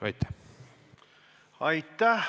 Aitäh!